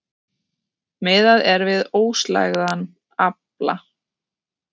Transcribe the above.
Miðað er við óslægðan afla